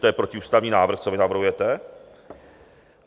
To je protiústavní návrh, co vy navrhujete.